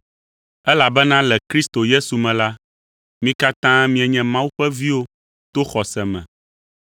Elabena le Kristo Yesu me la, mi katã mienye Mawu ƒe viwo to xɔse me,